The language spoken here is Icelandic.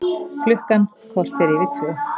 Klukkan korter yfir tvö